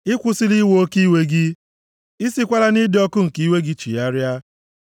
Ị kwụsịla iwe oke iwe gị, I sikwala nʼịdị ọkụ nke iwe gị chigharịa.